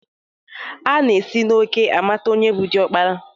Ana esi n'òkè amata onye bụ diọkpara